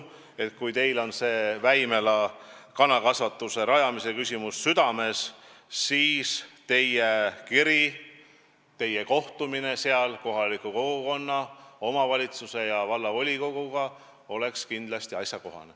Kui teil on see Väimela kanakasvanduse rajamise küsimus südamel, siis teie kiri, teie kohtumine seal kohaliku kogukonna, omavalitsuse ja vallavolikoguga oleks kindlasti asjakohane.